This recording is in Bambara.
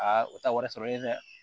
Aa o ta wari sɔrɔlen dɛ